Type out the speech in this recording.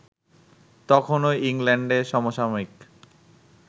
তখনও ইংল্যান্ডে সমসাময়িক